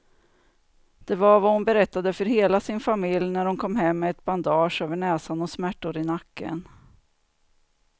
Det var vad hon berättade för hela sin familj när hon kom hem med ett bandage över näsan och smärtor i nacken.